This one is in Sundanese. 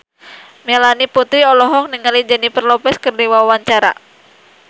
Melanie Putri olohok ningali Jennifer Lopez keur diwawancara